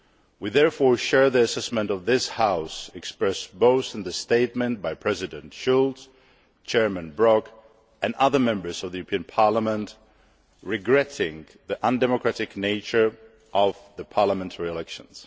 We therefore share the assessment of this House, expressed both in the statement by President Schultz, Chairman Brok and other Members of the European Parliament, regretting the undemocratic nature of the parliamentary elections.